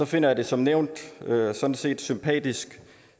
finder jeg det som nævnt sådan set sympatisk